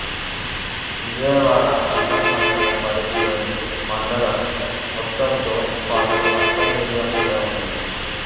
Vijayawada urban మండలం పరిధిలోని మండలం మొత్తంతో పాటు అర్బన్ ఏరియా కూడా ఉంది